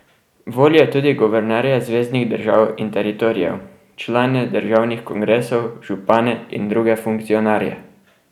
Volijo tudi guvernerje zveznih držav in teritorijev, člane državnih kongresov, župane in druge funkcionarje.